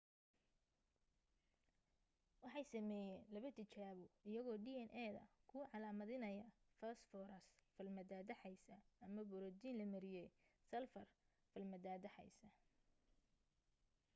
waxay sameeyeen laba tijaabo iyagoo dna da ku calaamidanaya foosfaras falmataataxaysa ama booratiin la mariyay salfar falmataataxaysa